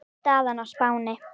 Staðan á Spáni